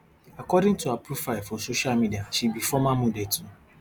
according to her profile for social media she be former model too